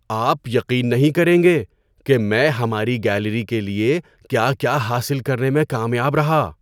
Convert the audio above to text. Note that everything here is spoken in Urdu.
آپ یقین نہیں کریں گے کہ میں ہماری گیلری کے لیے کیا کیا حاصل کرنے میں کامیاب رہا!